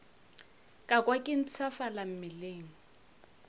ka kwa ke mpshafala mmeleng